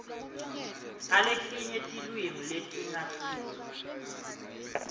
aletinye tilwimi letingasiso